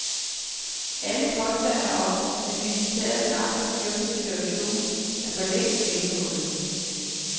Alle påstande om, at militæret snart har styr på situationen, er forlængst gennemhullet.